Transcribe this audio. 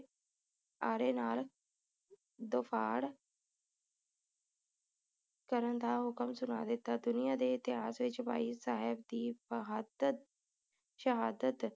ਆਰੇ ਨਾਲ ਦਫਾੜ੍ਹ ਕਰਨ ਦਾ ਹੁਕਮ ਦਿੱਤਾ ਦੁਨੀਆਂ ਦੇ ਇਤਿਹਾਸ ਵਿਚ ਭਾਈ ਸਾਹਿਬ ਦੀ ਬਹਾਦਰ ਸ਼ਹਾਦਤ